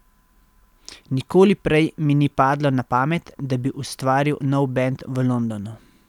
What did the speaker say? Nikoli prej mi ni padlo na pamet, da bi ustvaril nov bend v Londonu.